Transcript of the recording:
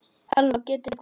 halló getiði hvað?